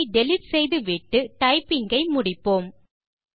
அதை டிலீட் செய்துவிட்டு டைப்பிங் ஐ முடிப்போம்